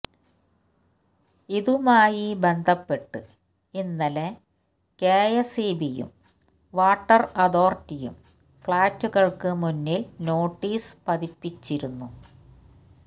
ഇതുമായി ബന്ധപ്പെട്ട് ഇന്നലെ കെഎസ്ഇബിയും വാട്ടര് അതോറിറ്റിയും ഫ്ലാറ്റുകള്ക്ക് മുന്നില് നോട്ടീസ് പതിപ്പിച്ചിരുന്നു